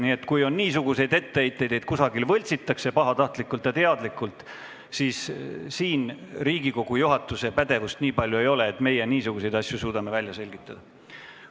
Nii et kui kellelgi on etteheiteid, et kusagil pahatahtlikult ja teadlikult midagi võltsitakse, siis siin Riigikogu juhatusel nii palju pädevust ei ole, et suudaksime selliseid asju ise välja selgitada.